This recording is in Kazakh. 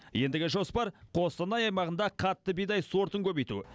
ендігі жоспар қостанай аймағында қатты бидай сортын көбейту